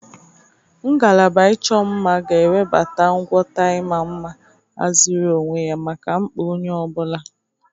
Ngalaba ịchọ mma ga-ewebata ngwọta ịma mma ahaziri onwe maka mkpa onye ọ bụla.